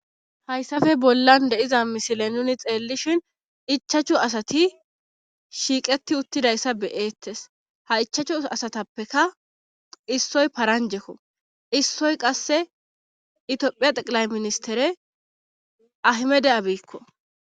Hayssafe bollan deiza misile nuni xeellishin ichachu asati shiiqeti uttidayssa beyeettes ha ichachu asatappeka issoy paranjekko issoy qasse itiophiya xeqilay ministere ahimede abiikko